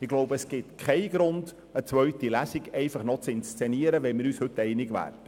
Ich denke, es gibt keinen Grund, eine zweite Lesung zu inszenieren, wenn wir uns heute einig werden.